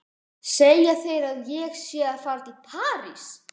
Segja þeir að ég sé að fara til París?